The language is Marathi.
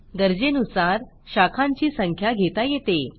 गरजेनुसार शाखांची संख्या घेता येते